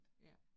Ja